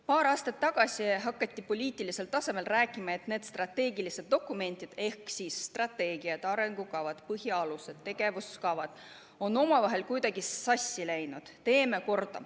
Paar aastat tagasi hakati poliitilisel tasemel rääkima, et strateegilised dokumendid ehk strateegiad ja arengukavad, põhialused ja tegevuskavad on omavahel kuidagi sassi läinud ja et teeme need korda.